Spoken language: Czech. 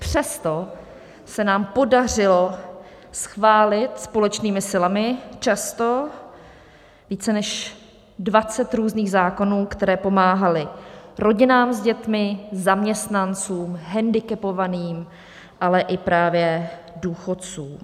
Přesto se nám podařilo schválit společnými silami často více než 20 různých zákonů, které pomáhaly rodinám s dětmi, zaměstnancům, hendikepovaným, ale i právě důchodcům.